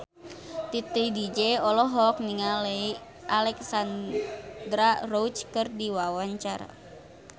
Titi DJ olohok ningali Alexandra Roach keur diwawancara